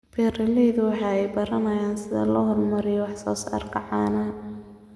Beeralayda ayaa baranaya sida loo horumariyo wax soo saarka caanaha.